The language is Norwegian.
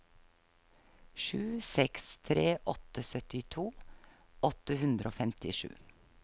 sju seks tre åtte syttito åtte hundre og femtisju